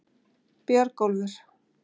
Björgólfur